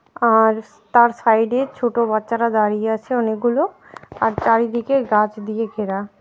আর তার সাইডে ছোটো বাচ্চারা দাঁড়িয়ে আছে অনেকগুলো আর চারিদিকে গাছ দিয়ে ঘেরা ।